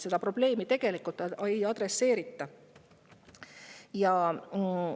Seda probleemi tegelikult ei.